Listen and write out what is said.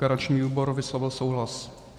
Garanční výbor vyslovil souhlas.